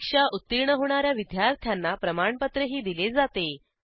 परीक्षा उत्तीर्ण होणा या विद्यार्थ्यांना प्रमाणपत्रही दिले जाते